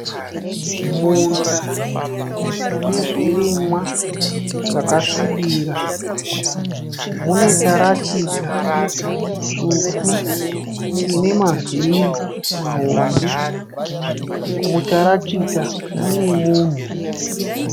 Munda une zvirimwa zvakasvibira. Mune tarakita tsvuku ine mavhiri mahombe. Mutarakita mune munhu.